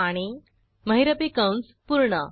आणि महिरपी कंस पूर्ण